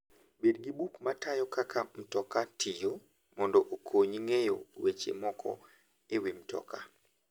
Bed gi buk ma tayo kaka mtoka tiyo mondo okonyi ng'eyo weche moko e wi mtoka.